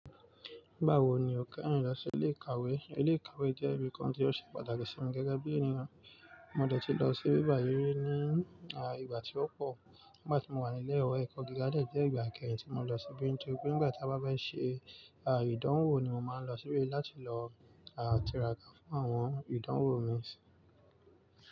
Nígbà wo ni o kẹ́yìn lọ sí ilé ìkàwé? Ilé ìkàwé jẹ́ ibi kan tí ó ṣe pàtàkì sí mi gẹ́gẹ́ bí ènìyàn. Mo dẹ̀ tí lọ sí bíbàyí rí ní, ìgbà tí ó pọ̀ nígbà tí mo wà nílẹ̀ ìwé ẹ̀kọ́ gíga dẹ̀ jẹ́ ìgbà ìkẹyìn tí mo lọ síbí nítorí pé nígbà tí a bá fẹ́ ṣe, ìdánwò ni mo máa ń lọ síbí láti lọ, tira ká fún àwọn ìdánwò mi.